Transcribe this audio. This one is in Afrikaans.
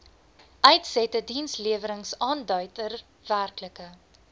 uitsette diensleweringaanduider werklike